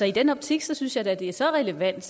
i den optik synes jeg da det er så relevant